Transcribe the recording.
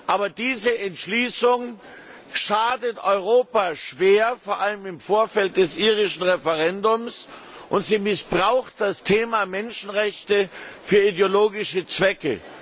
Aber diese Entschließung schadet Europa schwer, vor allem im Vorfeld des irischen Referendums, und sie missbraucht das Thema Menschenrechte für ideologische Zwecke.